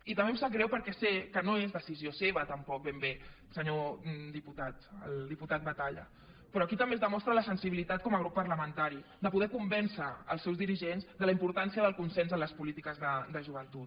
i també em sap greu perquè sé que no és decisió seva tampoc ben bé senyor diputat el diputat batalla però aquí també es demostra la sensibilitat com a grup parlamentari de poder convèncer els seus dirigents de la importància del consens en les polítiques de joventut